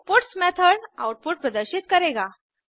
puts method output प्रदर्शित करेगा